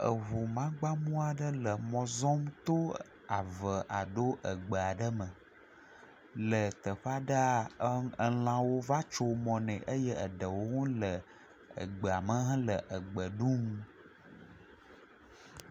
Eŋumagbamɔ aɖe le mɔ zɔm to ave alo egbe aɖe me le teƒe aɖea, elãwo va tso mɔ ne eye eɖewo le egbea me le egbe ɖum.